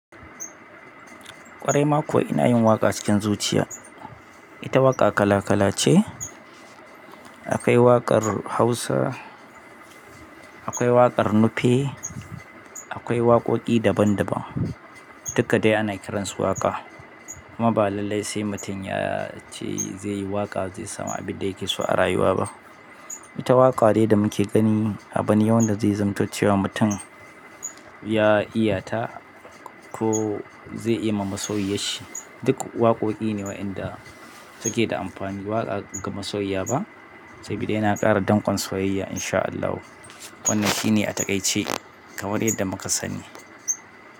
Ƙwarai ma kuwa ina yin waƙa cikin zuciya. Ita waƙa kala kala ce. Akwai waƙar hausa, akwai waƙar nufe, akwai waƙoƙi daban daban. Dukka dai ana kiransu waƙa. Amma ba lalai sai mutum ya ce zai yi waƙa zai samu abin da yake so a rayuwa ba. Ita waƙa ne da muke gani a bani yau da zai zamanto ce wa mutum ya iyata ko zai yi ma masoyiyan shi. Duk waƙoƙi ne wa'inda suke da amfani. Waƙa ga masoyiya ba sabida yana ƙara dankon soyayya insha Allahu. Wannan shi ne a takaice kamar yadda muka sani.